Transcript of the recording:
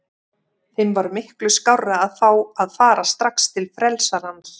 Þeim var miklu skárra að fá að fara strax til frelsarans.